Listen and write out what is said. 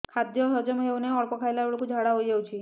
ଖାଦ୍ୟ ହଜମ ହେଉ ନାହିଁ ଅଳ୍ପ ଖାଇଲା ବେଳକୁ ଝାଡ଼ା ହୋଇଯାଉଛି